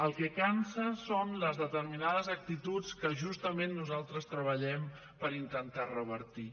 el que cansa són les determinades actituds que justament nosaltres treballem per intentar revertir